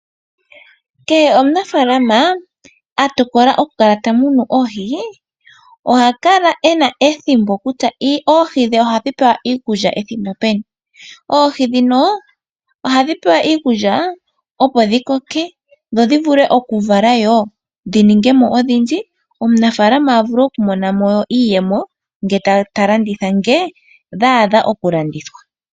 Kehe omunafaalama atokola okukala tamunu oohii, ohakala ena ethimbo kutya oohi dhe ohadhipewa iikulya ethimbo peni, oohi dhino ohadhi pewa iikulya opo dhikoke dhodhivule okuvala yo dhiningemo odhindji. Omunafaalama avule okumonamo iiyemo ngetalanditha nge dhaadha okulandithwa.